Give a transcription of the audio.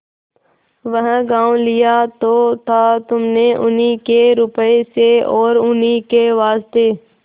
वह गॉँव लिया तो था तुमने उन्हीं के रुपये से और उन्हीं के वास्ते